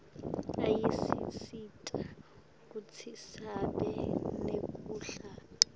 ayasisita kutsi sibe nekudla